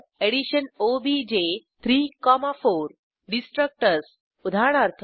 addition OBJ 3 4 destructors उदाहरणार्थ